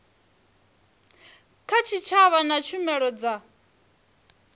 kha tshitshavha na tshumelo dza